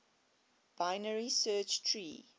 binary search tree